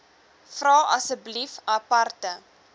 vra asseblief aparte